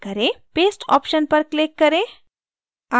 paste option पर click करें